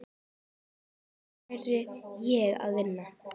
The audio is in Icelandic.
Þar lærði ég að vinna.